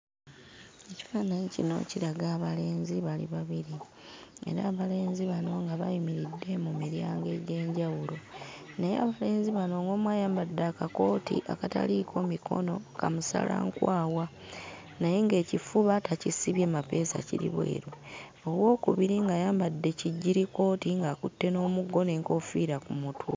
Ekifaananyi kino kiraga abalenzi bali babiri. Era abalenzi bano nga bayimiridde mu miryango egy'enjawulo. Naye abalenzi bano ng'omu ayambadde akakooti akataliiko mikono ka musalankwawa naye ng'ekifuba takisibye mapeesa kiri bweru. Owookubiri ng'ayambadde kijjirikooti ng'akutte n'omuggo n'enkoofiira ku mutwe.